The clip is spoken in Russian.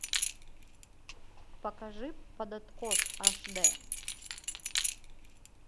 покажи под откос аш д